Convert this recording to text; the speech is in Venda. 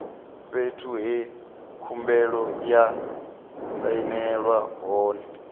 fhethu he khumbelo ya sainelwa hone